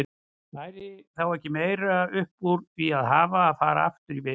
Væri þá ekki meira upp úr því að hafa að fara aftur í vist?